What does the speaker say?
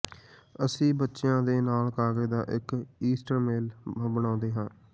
ਅਸੀਂ ਬੱਚਿਆਂ ਦੇ ਨਾਲ ਕਾਗਜ਼ ਦਾ ਇਕ ਈਸਟਰ ਮੇਲਾ ਬਣਾਉਂਦੇ ਹਾਂ